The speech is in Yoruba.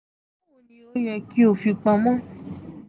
bawo ni o yẹ ki o fi pamo?